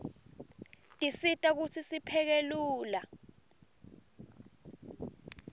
tisisita kutsi sipheke lula